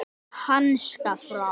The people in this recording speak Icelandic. Háska frá.